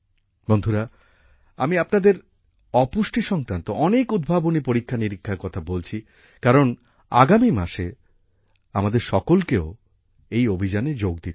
বন্ধুরা আমি আপনাদের অপুষ্টি সংক্রান্ত অনেক উদ্ভাবনী পরীক্ষানিরীক্ষার কথা বলছি কারণ আগামী মাসে আমাদের সকলকেও এই অভিযানে যোগ দিতে হবে